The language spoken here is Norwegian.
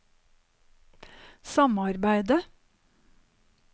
samarbeidet